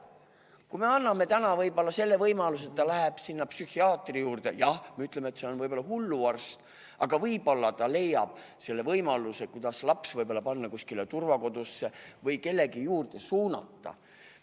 Kui me anname täna selle võimaluse, et laps võib minna psühhiaatri juurde – jah, me ütleme, et see on võib-olla hulluarst, aga võib-olla ta leiab võimaluse panna laps kuskile turvakodusse või kellegi abiandja suunata.